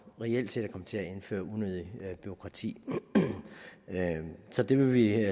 reelt set at komme til at indføre unødigt bureaukrati så det vil vi